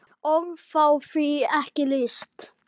Orð fá því ekki lýst.